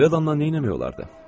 Belə adamla nə eləmək olardı?